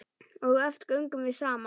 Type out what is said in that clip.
Og oft göngum við saman.